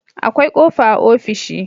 akwai kofa a ofishi